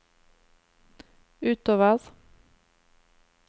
utover